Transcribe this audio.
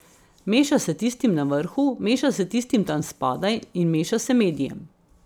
Meša se tistim na vrhu, meša se tistim tam spodaj in meša se medijem.